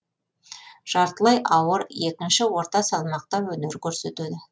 жартылай ауыр екінші орта салмақта өнер көрсетеді